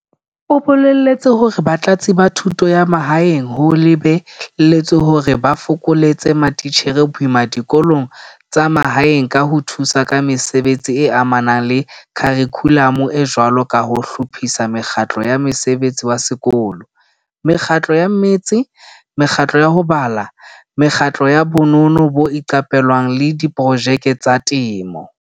O boletse hore Batlatsi ba Thuto ya Mahaeng ho lebe lletswe hore ba fokoletse matitjhere boima dikolong tsa mahaeng ka ho thusa ka mesebetsing e amanang le kharikhulamo e jwalo ka ho hlophisa mekgatlo ya mosebetsi wa sekolo, mekgatlo ya mmetse, mekgatlo ya ho bala, mekgatlo ya bonono bo iqapelwang le diprojeke tsa temo.